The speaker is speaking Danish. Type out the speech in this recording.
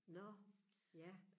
nå ja